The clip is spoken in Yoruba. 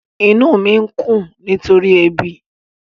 Inú mi ń kùn nítorí ebi.